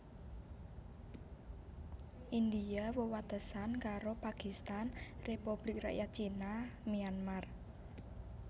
India wewatesan karo Pakistan Republik Rakyat Cina Myanmar